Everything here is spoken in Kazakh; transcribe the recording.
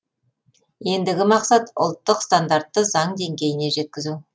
ендігі мақсат ұлттық стандартты заң деңгейіне жеткізу